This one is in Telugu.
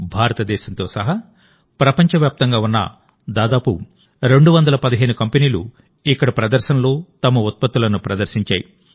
భారతదేశంతో సహా ప్రపంచవ్యాప్తంగా ఉన్న దాదాపు 215 కంపెనీలు ఇక్కడ ప్రదర్శనలో తమ ఉత్పత్తులను ప్రదర్శించాయి